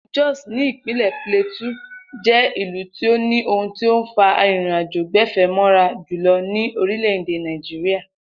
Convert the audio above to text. Ilú Jos ní ìpínlè̩ Plateau jé̩ ìlú tí ó ní ohun tó ń fa arìnrìnàjò-gbè̩fé̩ mó̩ra jùlo̩ ní orílè̩-èdè Nàìjíríà